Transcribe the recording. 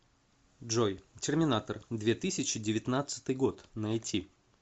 джой терминатор две тысячи девятнадцатый год найти